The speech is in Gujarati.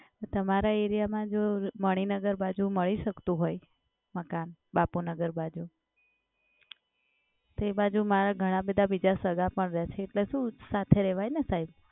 તમારા એરિયામાં જો મણિનગર બાજુ મળી શકતું હોય મકાન બાપુનગર બાજુ, તો એ બાજુ મારા ઘણા બધા બીજા સગા પણ રહે છે. એટલે શું એક સાથે રહેવાય ને સાહેબ.